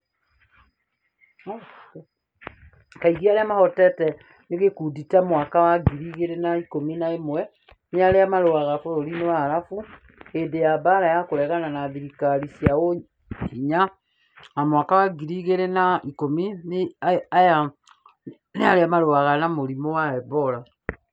Kaingĩ, arĩa mahotete nĩ gĩkundi, ta mwaka wa ngiri igiri na ikũmi na ĩmwe nĩ arĩa maarũaga bũrũri-inĩ wa Arabu hĩndĩ ya mbaara ya kũregana na thirikari cia ũhinya na mwaka wa ngiri ĩgĩrĩ na ikũmi na inya nĩ arĩa marũaga na mũrimũ wa Ebora.